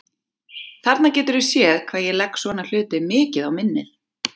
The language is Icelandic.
Þarna geturðu séð hvað ég legg svona hluti mikið á minnið!